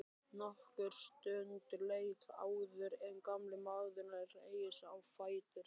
Nokkur stund leið áður en gamli maðurinn reis á fætur.